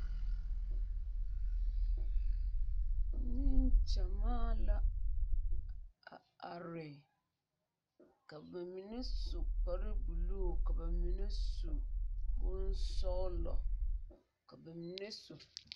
Nengyamaa la a are ka ba mine su kparebulu ka ba mine su bonsɔglɔ ka ba mine su.